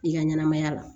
I ka ɲɛnamaya la